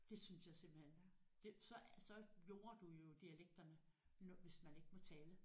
Det synes jeg simpelthen det så så jorder du jo dialekterne når hvis man ikke må tale